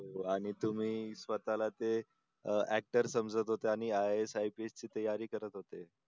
आणि तुम्ही स्वतःला ते अं actor समजत होते आणि IASIPS ची तयारी करत होते